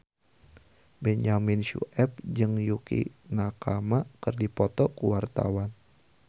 Benyamin Sueb jeung Yukie Nakama keur dipoto ku wartawan